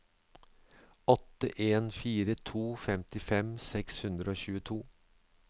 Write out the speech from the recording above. åtte en fire to femtifem seks hundre og tjueto